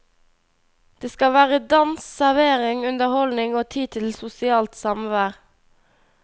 Det skal være dans, servering, underholdning og tid til sosialt samvær.